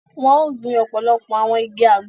Wọn o gbìn ọpọlọpọ awọn ìgi Àgbo